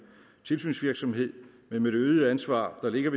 tilsynsvirksomhed men med det øgede ansvar der ligger